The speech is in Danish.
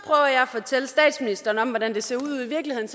fortælle statsministeren hvordan det ser ud ude i virkeligheden